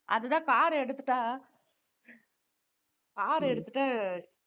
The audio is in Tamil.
அதுதான் car எடுத்துட்டா car எடுத்துட்டு